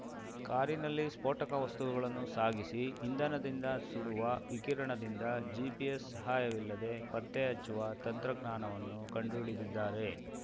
ಕಾರಿನಲ್ಲಿ ಸ್ಫೋಟಕ ವಸ್ತುಗಳನ್ನು ಸಾಗಿಸಿ ಇಂಧನದಿಂದ ಸುಡುವ ವಿಕಿರಣದಿಂದ ಜಿಪಿಎಸ್ ಸಹಾಯವಿಲ್ಲದೆ ಪತ್ತೆ ಹಚ್ಚುವ ತಂತ್ರಜ್ಞಾನವನ್ನು ಕಂಡು ಹಿಡಿದಿದ್ದಾರೆ